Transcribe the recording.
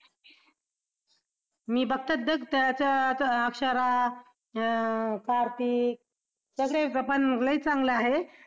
मी बघते त्याच्यात अक्षरा अं कार्तिक सगळे मग लई चांगलं आहे.